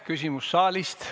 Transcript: Küsimus saalist.